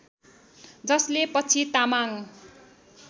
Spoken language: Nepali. जसले पछि तामाङ